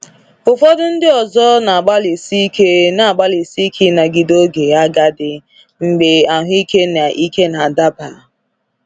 Ụfọdụ ndị ọzọ na-agbalịsi ike na-agbalịsi ike ịnagide oge agadi, mgbe ahụike na ike na-adaba.